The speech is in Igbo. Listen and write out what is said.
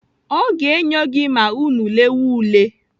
Ọ ga-enyo gị ma unu lewa ule.